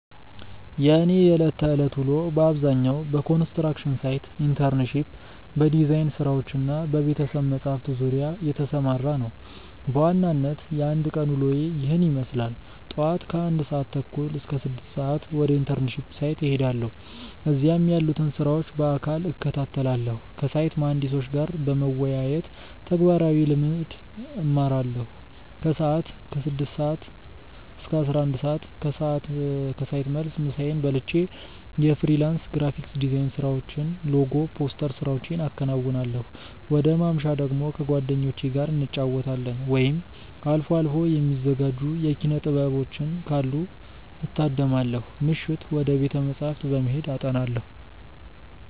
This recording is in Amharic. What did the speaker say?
የእኔ የዕለት ተዕለት ውሎ በአብዛኛው በኮንስትራክሽን ሳይት ኢንተርንሺፕ፣ በዲዛይን ስራዎች እና በቤተ-መጻሕፍት ዙሪያ የተሰማራ ነው። በዋናነት የአንድ ቀን ውሎዬ ይህንን ይመስላል፦ ጧት (ከ1:30 - 6:00)፦ ወደ ኢንተርንሺፕ ሳይት እሄዳለሁ። እዚያም ያሉትን ስራዎች በአካል እከታተላለሁ። ከሳይት መሃንዲሶች ጋር በመወያየት ተግባራዊ ልምድ እማራለሁ። ከሰዓት (ከ6:00 - 11:00)፦ ከሳይት መልስ ምሳዬን በልቼ የፍሪላንስ ግራፊክ ዲዛይን ስራዎችን (ሎጎ፣ ፖስተር ስራዎቼን አከናውናለሁ። ወደ ማምሻ ደግሞ፦ ከጓደኞቼ ጋር እንጫወታለን፣ ወይም አልፎ አልፎ የሚዘጋጁ የኪነ-ጥበቦችን ካሉ እታደማለሁ። ምሽት፦ ወደ ቤተ-መጻሕፍት በመሄድ አጠናለሁ።